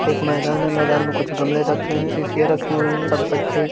एक मैदान है। मैदान में कुछ गमले रखे हैं। सीसीया रखी हुई हैं। सब बच्चे --